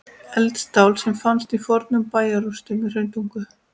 Eldstál sem fannst í fornum bæjarrústum í Hrauntungu.